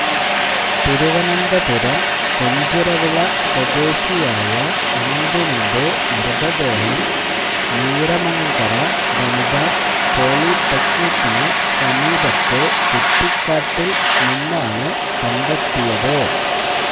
തിരുവനന്തപുരം കൊഞ്ചിറവിള സ്വദേശിയായ അനന്തുവിന്റെ മൃതദേഹം നീറമണ്കര വനിതാ പോളിടെക്നിക്കിനു സമീപത്തെ കുറ്റിക്കാട്ടില് നിന്നാണ് കണ്ടെത്തിയത്